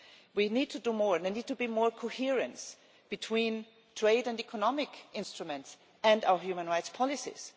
We need to do more and there needs to be more coherence between trade and economic instruments and our human rights policies.